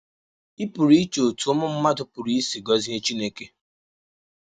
Ị pụrụ iche otú ụmụ mmadụ pụrụ isi gọzie Chineke.